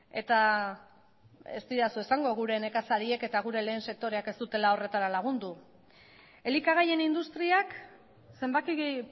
eta ez didazu esango gure nekazariek eta gure lehen sektoreak ez dutela horretara lagundu elikagaien industriak zenbaki